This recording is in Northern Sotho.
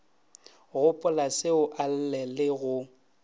gopolaseo a lle le go